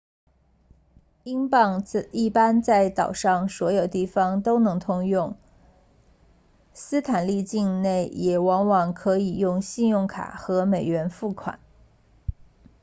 英镑一般在岛上所有地方都通用斯坦利境内也往往可以用信用卡和美元付款